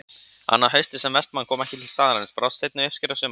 Annað haustið sem Vestmann kom ekki til staðarins brást seinni uppskera sumarsins.